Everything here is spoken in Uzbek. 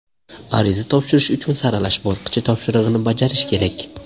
Ariza topshirish uchun saralash bosqichi topshirig‘ini bajarish kerak.